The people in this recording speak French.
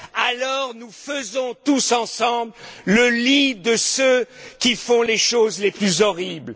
alors nous faisons tous ensemble le lit de ceux qui commettent les actes les plus horribles.